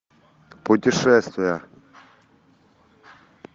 путешествия